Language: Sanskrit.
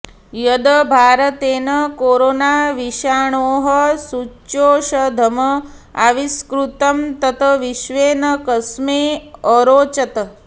यद् भारतेन कोरोनाविषाणोः सूच्यौषधम् आविष्कृतं तत् विश्वे न कस्मै अरोचत